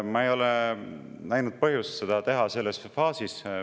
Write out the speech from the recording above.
Ma ei ole näinud põhjust seda teha selles faasis.